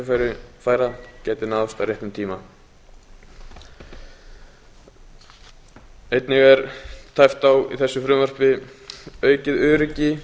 nýtingu tækifæra gætu náðst á réttum tíma einnig er tæpt á í þessu frumvarpi auknu öryggi